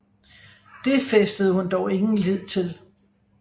Det fæstede hun dog ingen lid til